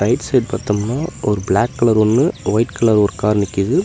ட் side பாத்தம்னா ஒரு black colour ஒன்னு ஒயிட் கலர் ஒர் கார் நிக்கிது.